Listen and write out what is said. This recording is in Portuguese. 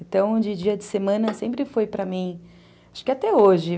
Então, de dia de semana sempre foi para mim... Acho que até hoje.